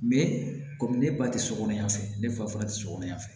kɔmi ne ba ti so kɔnɔ yan ne fa te sokɔnɔ yan fɛ